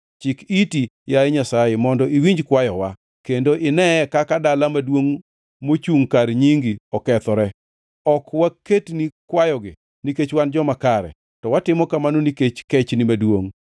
Chik iti, yaye Nyasaye, mondo iwinj kwayowa, kendo ineye kaka dala maduongʼ mochungʼ kar nyingi okethore. Ok waketni kwayogi nikech wan joma kare, to watimo kamano nikech kechni maduongʼ.